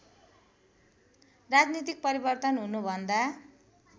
राजनीतिक परिवर्तन हुनुभन्दा